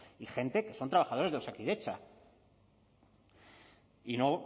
y gente que son trabajadores de osakidetza y no